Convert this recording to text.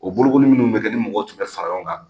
O bolokoli munnu be kɛ ni mɔgɔw tun bɛ fara ɲɔgɔn kan